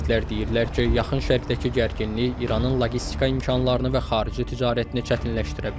Ekspertlər deyirlər ki, Yaxın Şərqdəki gərginlik İranın loqistika imkanlarını və xarici ticarətini çətinləşdirə bilər.